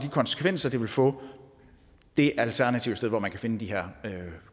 konsekvenser det vil få det alternative sted hvor man kan finde de her